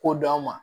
Ko dɔn an ma